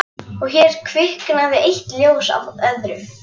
Og hér kviknaði eitt ljós af öðru